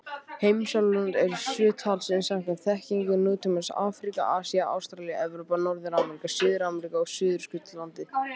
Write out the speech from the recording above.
Heimsálfurnar eru sjö talsins samkvæmt þekkingu nútímans: Afríka, Asía, Ástralía, Evrópa, Norður-Ameríka, Suður-Ameríka og Suðurskautslandið.